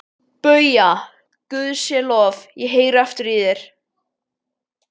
BAUJA: Guði sé lof, ég heyri aftur í þér!